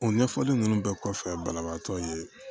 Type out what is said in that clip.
O ɲɛfɔli nunnu bɛɛ kɔfɛ banabaatɔ ye